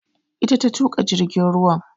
Ita ta tuƙa jirgin ruwan